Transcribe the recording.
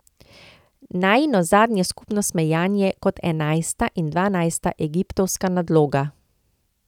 Najino zadnje skupno smejanje, kot enajsta in dvanajsta egiptovska nadloga.